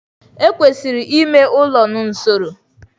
Ekwesịrị ime ụlọ n'usoro.